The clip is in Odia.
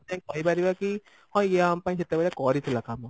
କହିପାରିବା କି ହଁ ଇଏ ଆମ ପାଇଁ ସେତେବେଳେ କରିଥିଲା କାମ